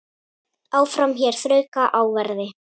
Áfram hér þrauka á verði.